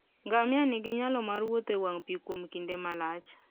Ngamia nigi nyalo mar wuotho e wang' pi kuom kinde malach.